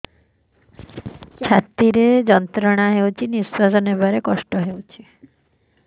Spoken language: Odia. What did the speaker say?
ଛାତି ରେ ଯନ୍ତ୍ରଣା ହଉଛି ନିଶ୍ୱାସ ନେବାରେ କଷ୍ଟ ହଉଛି